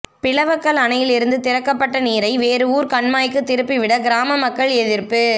பிளவக்கல் அணையிலிருந்து திறக்கப்பட்ட நீரை வேறு ஊா் கண்மாய்க்கு திருப்பிவிட கிராம மக்கள் எதிா்ப்பு